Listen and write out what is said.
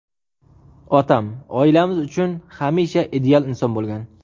Otam – oilamiz uchun hamisha ideal inson bo‘lgan.